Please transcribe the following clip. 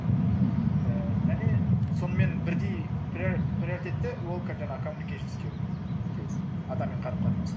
мхм ііі және сонымен бірдей приоритетте ол жаңағы коммуникейшн скилз адаммен қарым қатынасу